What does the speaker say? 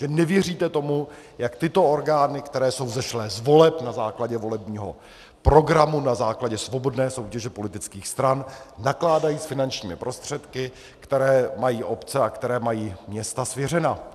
Že nevěříte tomu, jak tyto orgány, které jsou vzešlé z voleb na základě volebního programu, na základě svobodné soutěže politických stran, nakládají s finančními prostředky, které mají obce a které mají města svěřena.